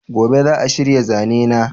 gobe za'a shirya zanena